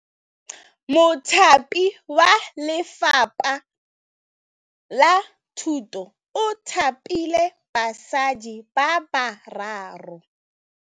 Mothapi wa Lefapha la Thutô o thapile basadi ba ba raro.